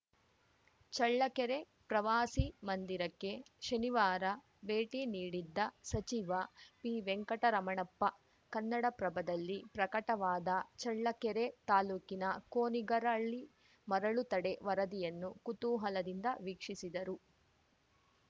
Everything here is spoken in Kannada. ಚಳ್ಳಕೆರೆ ಪ್ರವಾಸಿ ಮಂದಿರಕ್ಕೆ ಶನಿವಾರ ಭೇಟಿ ನೀಡಿದ್ದ ಸಚಿವ ಪಿವೆಂಕಟರಮಣಪ್ಪ ಕನ್ನಡಪ್ರಭದಲ್ಲಿ ಪ್ರಕಟವಾದ ಚಳ್ಳಕೆರೆ ತಾಲೂಕಿನ ಕೋನಿಗರಹಳ್ಳಿ ಮರಳು ತಡೆ ವರದಿಯನ್ನು ಕುತೂಹಲದಿಂದ ವೀಕ್ಷಿಸಿದರು